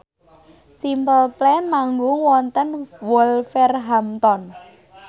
Simple Plan manggung wonten Wolverhampton